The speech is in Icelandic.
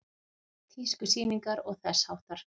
Tískusýningar og þess háttar?